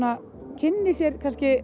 kynni sér